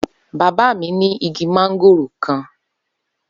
Baba mi ni igi mángóòrò kan.